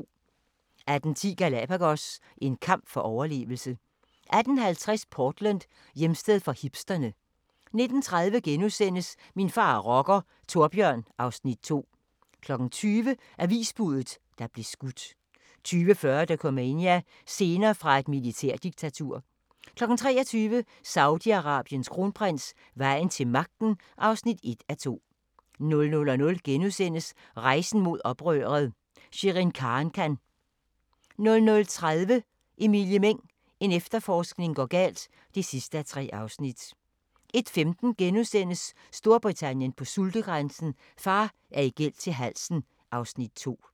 18:10: Galapagos – en kamp for overlevelse 18:50: Portland: Hjemsted for hipsterne 19:30: Min far er rocker - Thorbjørn (Afs. 2)* 20:00: Avisbuddet, der blev skudt 20:40: Dokumania: Scener fra et militærdiktatur 23:00: Saudi-Arabiens kronprins: Vejen til magten (1:2) 00:00: Rejsen mod oprøret – Sherin Khankan * 00:30: Emilie Meng – en efterforskning går galt (3:3) 01:15: Storbritannien på sultegrænsen: Far er i gæld til halsen (Afs. 2)*